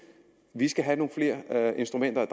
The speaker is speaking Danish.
vi skal have nogle flere instrumenter at